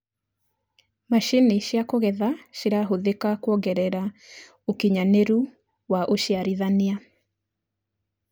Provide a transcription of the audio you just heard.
macinĩ cia kugetha cirahuthika kuongerera ũũkĩnyanĩru wa uciarithanĩa